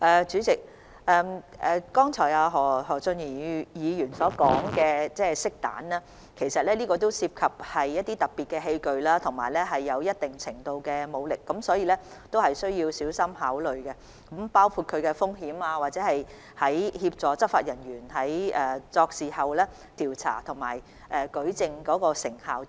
主席，何俊賢議員剛才提到的漆彈，是一種特別器具，使用時涉及一定程度的武力，必須小心考慮相關風險，以及使用這器具協助執法人員調查和舉證的成效等。